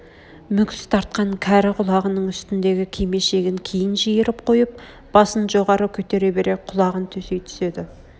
мүкс тартқан кәрі құлағының үстндегі кимешегін кейін жиырып қойып басын жоғары көтере бере құлағын төсей түседі